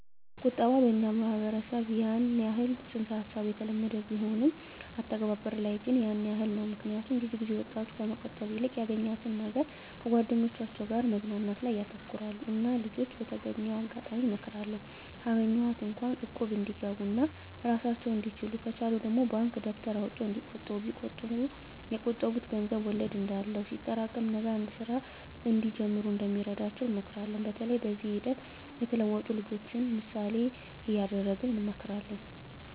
ቁጠባ በኛ ማህበረሰብ ያን የህል ፅንስ ሀሳቡ የተለመደ ቢሆንም ግን አተገባበር ላይ ያን የህል ነው ምክኒያቱም ብዙ ጊዜ ወጣቱ ከመቆጠብ ይልቅ ያገኛትን ነገር ከጓደኞቻቸው ጋር መዝናናት ላይ ያተኩራሉ እና ልጅች በተገኘው አጋጣሚ እመክራለሁ ካገኟት እንኳ እቁብ እንዲገቡ ኦና እራሳቸውን እንድችሉ ከቻሉ ደግሞ ባንክ ደብተር አውጥተው እንዲቆጥቡ ቢቆጥቡ የቆጠቡት ገንዘብ ወለድ እንዳለው ሲጠሬቀም ነገ አንድ ስራ እንዲጀምሩ እንደሚረዳቸው እንመክራለን በተለይ በዚህ ሂደት የተለወጡ ልጅችን ምሳሌ እደረግ እንመክራለን።